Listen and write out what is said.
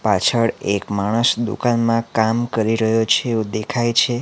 પાછળ એક માણસ દુકાનમાં કામ કરી રહ્યો છે એવું દેખાય છે.